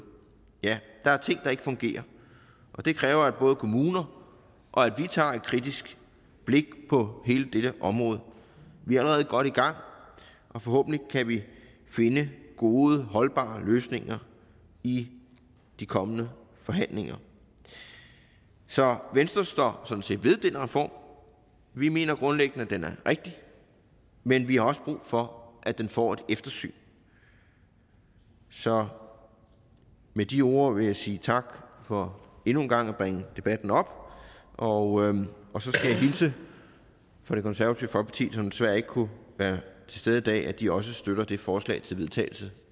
ja der er ting der ikke fungerer og det kræver at både kommuner og vi tager et kritisk blik på hele det her område vi er allerede godt i gang og forhåbentlig kan vi finde gode holdbare løsninger i de kommende forhandlinger så venstre står sådan set ved den reform vi mener grundlæggende at den er rigtig men vi har også brug for at den får et eftersyn så med de ord vil jeg sige tak for endnu en gang at bringe debatten op og og så skal jeg hilse fra det konservative folkeparti som desværre ikke kunne være til stede i dag og de også støtter det forslag til vedtagelse